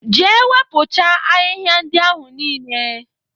Jee wepụcha ahịhịa ndị ahụ niile!